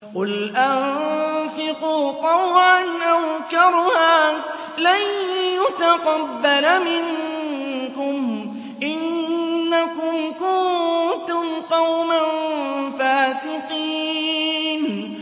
قُلْ أَنفِقُوا طَوْعًا أَوْ كَرْهًا لَّن يُتَقَبَّلَ مِنكُمْ ۖ إِنَّكُمْ كُنتُمْ قَوْمًا فَاسِقِينَ